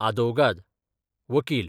आदवोगाद, वकील